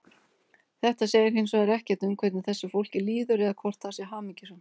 Þetta segir hins vegar ekkert um hvernig þessu fólki líður eða hvort það sé hamingjusamt.